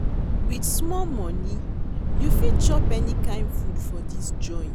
Wit small moni, you fit chop any kain food for dis joint.